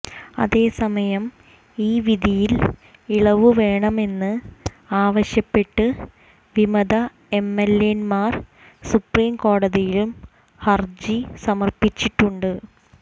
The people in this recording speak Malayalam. അതേസമയം ഈ വിധിയിൽ ഇളവു വേണമെന്ന് ആവശ്യപ്പെട്ട് വിമത എംഎൽഎമാർ സുപ്രീംകോടതിയിലും ഹര്ജി സമര്പ്പിച്ചിട്ടുണ്ട്